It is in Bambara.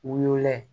Wolola ye